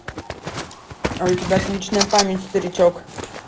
а у тебя отличная память старичок